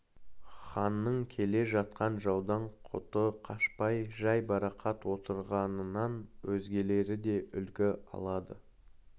ханның келе жатқан жаудан құты қашпай жайбарақат отырғанынан өзгелері де үлгі алды